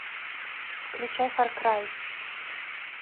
включай фар край